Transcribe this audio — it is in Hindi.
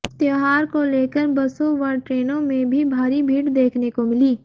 त्योहार को लेकर बसों व ट्रेनों में भी भारी भीड़ देखने को मिली